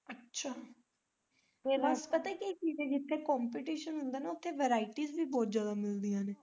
ਅੱਛਾ ਵੇਖਲਾ ਪਤਾ ਕੀ ਚੀਜ ਐ ਜਿੱਥੇ competition ਹੁੰਦਾ ਨਾ ਉੱਥੇ varieties ਵੀ ਬਹੁਤ ਜਿਆਦਾ ਮਿਲਦੀਆਂ ਨੇ।